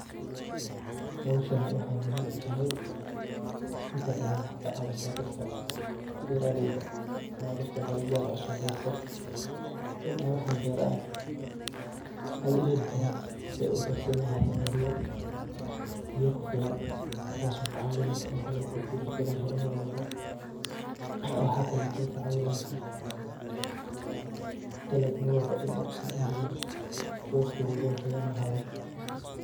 Howshani wxay muhim u tahay, inta badan wxay kacawisa dadka beraleyda ama dadka dalabyad cusub berto in ay wxay beranay u helikaran si ay u garsin lahayen iyo biyo kufilan tas okacawineyso in beyo kufilan marwalbo wxa kaleyto ay kacawineysa dalab marwalbo in usaxan yihin waqti walbo qoyan lahado.